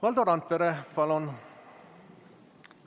Valdo Randpere, palun!